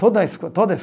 Toda esco, toda